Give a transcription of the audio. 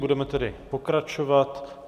Budeme tedy pokračovat.